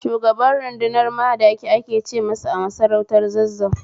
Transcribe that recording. Shugaban rudunar Madaki ake ce masa a masarautar Zazzau